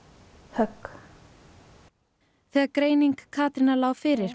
högg þegar greining Katrínar lá fyrir